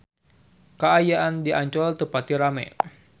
Kaayaan di Ancol teu pati rame